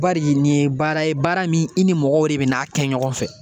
Bari nin ye baara ye baara min i ni mɔgɔw de bɛna kɛ ɲɔgɔn fɛ